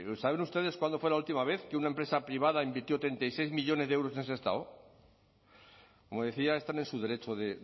saben ustedes cuándo fue la última vez que una empresa privada invirtió treinta y seis millónes de euros en sestao como decía están en su derecho de